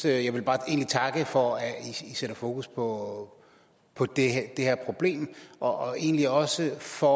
egentlig bare takke for at i sætter fokus på på det her problem og egentlig også for